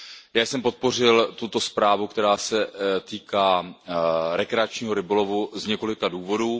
Já jsem podpořil tuto zprávu, která se týká rekreačního rybolovu, z několika důvodů.